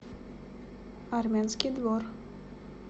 армянский двор